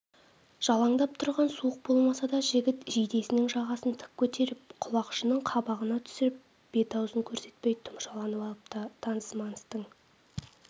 жалаңдап тұрған суық болмаса да жігіт жейдесінің жағасын тік көтеріп құлақшынын қабағына түсіріп бет-аузын көрсетпей тұмшаланып алыпты таныс-маныстың